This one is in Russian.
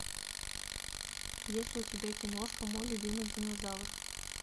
есть ли у тебя киношка мой любимый динозавр